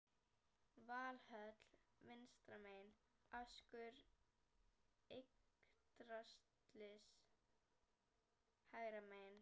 Valhöll vinstra megin, askur Yggdrasils hægra megin.